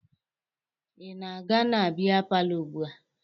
Ị na-aga na bịa palọ ugbua?